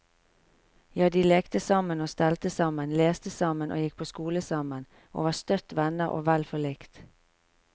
Ja, de lekte sammen og stelte sammen, leste sammen og gikk på skole sammen, og var støtt venner og vel forlikt.